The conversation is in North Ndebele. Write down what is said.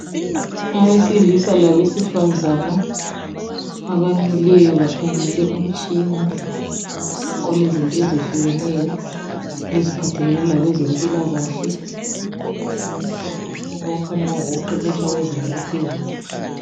abesilisa labesifazana abamileyo bakhangela umtshina olezinto ezitshiyeneyo eziphathelane lokwempilakahle okukhanya kungokokuqeqetsha abezinga eliphezulu